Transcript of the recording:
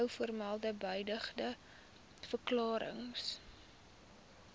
bovermelde beëdigde verklarings